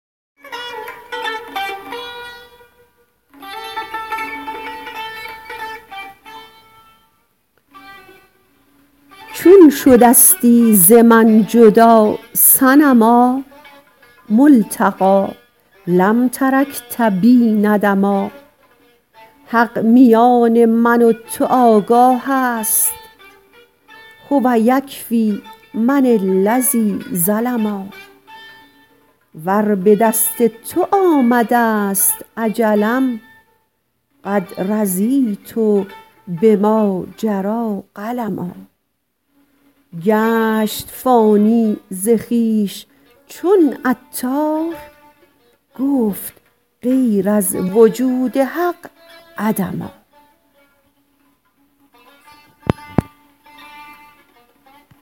چون شدستی ز من جدا صنما ملتقی لم ترکت بی ندما حق میان من و تو آگاه است هو یکفی من الذی ظلما ور به دست تو آمده است اجلم قد رضیت بما جری قلما گشت فانی ز خویش چون عطار گفت غیر از وجود حق عدما